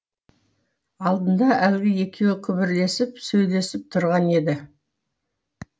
алдында әлгі екеуі күбірлесіп сөйлесіп тұрған еді